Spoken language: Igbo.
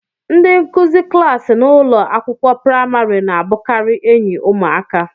Ndị nkuzi klaasị n'ụlọ akwụkwọ praịmarị na-abụkarị enyi ụmụaka.